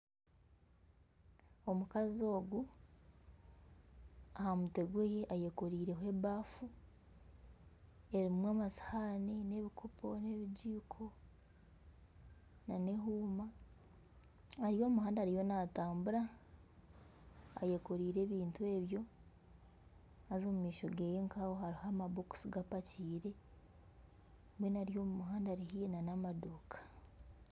Omukazi ogu aha mutwe gwe ayekoreireho ebafu erimu akasihaani nana ebikopo nana ebigiiko nana ehuuma ari omu muhanda ariyo naatambura ayekoreire ebintu ebyo haza omu maisho ge hariho amabokisi gapakiire mbwenu ari omu muhanda ari nana amaduuka.